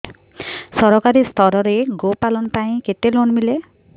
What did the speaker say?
ସରକାରୀ ସ୍ତରରେ ଗୋ ପାଳନ ପାଇଁ କେତେ ଲୋନ୍ ମିଳେ